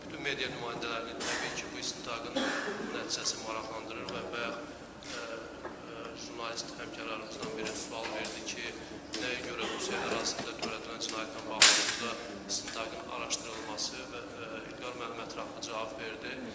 Bütün media nümayəndələrini təbii ki, bu istintaqın nəticəsi maraqlandırır və bayaq jurnalist həmkarlarımızdan biri sual verdi ki, nəyə görə Rusiya ərazisində törədilən cinayətlə bağlı burada istintaqın araşdırılması və İlqar müəllim ətraflı cavab verdi.